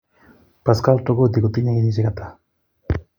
Pascal tokodi kotinyee kenyisiek atak